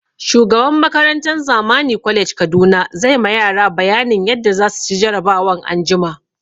Shugaban makarantan Zamani college Kaduna zai ma yara bayanin yadda za su ci jarabawan anjima